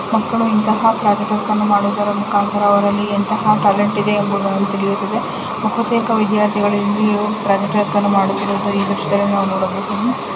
ಮಕ್ಕಳು ಇಂತಹ project work ಮಾಡುವ ಮುಖಾಂತರ ಅವರಲ್ಲಿ ಎಂತಹ ಟ್ಯಾಲೆಂಟ್ ಇದೆ ಎಂಬುದು ತಿಳಿಯುತ್ತದೆ ಬಹುತೇಕ ವಿದ್ಯಾರ್ಥಿಗಳು ಇಲ್ಲಿ ಪ್ರಾಜೆಕ್ಟ್ ವರ್ಕ್ ಮಾಡುತ್ತಿರುವುದು ಈ ದ್ರಶ್ಯದಲ್ಲಿ ನೋಡಬಹುದು.